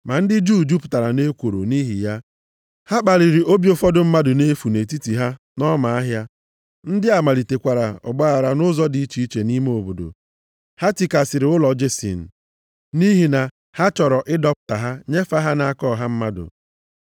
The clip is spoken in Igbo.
Ma ndị Juu jupụtara nʼekworo, nʼihi ya, ha kpaliri obi ụfọdụ mmadụ efu nʼetiti ha nʼọma ahịa. Ndị a malitekwara ọgbaaghara nʼụzọ dị iche nʼime obodo. Ha tikasịrị ụlọ Jesin, nʼihi na ha chọrọ ịdọpụta ha nyefee ha nʼaka ọha mmadụ.